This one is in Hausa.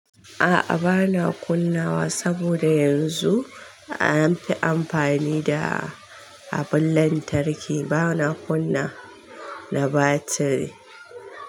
A'a bana kunnawa saboda yanzu an fi amfani da abun lantarki bana kunna na batiri.